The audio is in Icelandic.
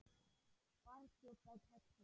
Barþjónn á Kexinu?